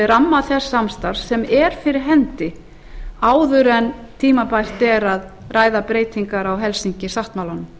ramma þess samstarfs sem er fyrir hendi áður en tímabært er að ræða breytingar á helsinki sáttmálanum